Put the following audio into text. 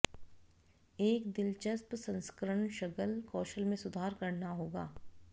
एक दिलचस्प संस्करण शगल कौशल में सुधार करना होगा